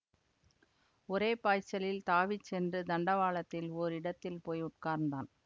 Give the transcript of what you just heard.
ஒரே பாய்ச்சலில் தாவிச் சென்று தண்டவாளத்தில் ஓரிடத்தில் போய் உட்கார்ந்தான்